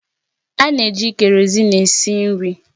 A na-eji Kereosene esi nri